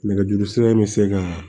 Nɛgɛjuru sira in bɛ se ka